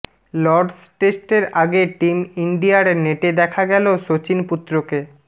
Lords টেস্টের আগে team ইন্ডিয়ার নেটে দেখা গেল শচীন পুত্রকে